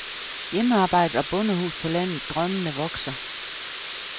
Hjemmearbejdet og bondehus på landet drømmene vokser.